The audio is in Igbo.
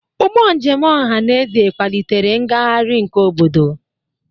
Ụgbọ njem ọhaneze kwalitere ngagharị nke obodo.